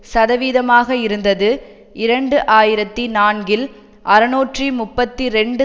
சதவீதமாக இருந்தது இரண்டு ஆயிரத்தி நான்கில் அறுநூற்று முப்பத்தி இரண்டு